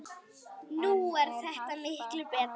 Nú er þetta miklu betra.